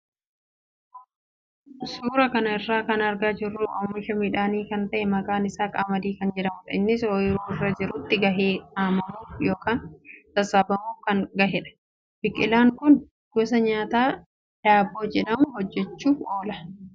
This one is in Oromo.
Suuraa kana irraa kan argaa jirru suuraa oomisha midhaanii kan ta'e maqaan isaa qamadii kan jedhamudha. Innis oyiruu irra jirutti gahee haamamuuf yookaan sassaabamuuf kan gahedha. Biqilaan kun gosa nyaataa daabboo jedhamu hojjachuuf oola.